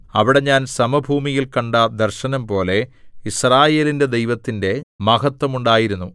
അവിടെ ഞാൻ സമഭൂമിയിൽ കണ്ട ദർശനംപോലെ യിസ്രായേലിന്റെ ദൈവത്തിന്റെ മഹത്ത്വം ഉണ്ടായിരുന്നു